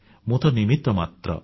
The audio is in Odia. ମୁଁ ତ ନିମିତ୍ତ ମାତ୍ର